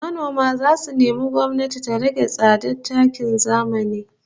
Manoma zasu nemi gwamnati ta rage tsadan takin zamani